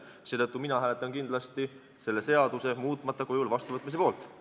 Seetõttu hääletan mina kindlasti selle seaduse muutmata kujul vastuvõtmise poolt.